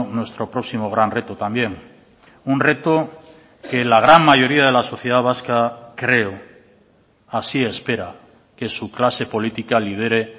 nuestro próximo gran reto también un reto que la gran mayoría de la sociedad vasca creo así espera que su clase política lidere